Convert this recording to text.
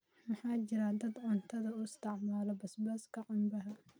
Waxaa jira dad cuntada u isticmaala basbaaska canbaha